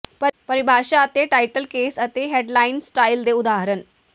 ਪਰਿਭਾਸ਼ਾ ਅਤੇ title case ਅਤੇ ਹੈਂਡਲਾਈਨ ਸਟਾਈਲ ਦੇ ਉਦਾਹਰਣ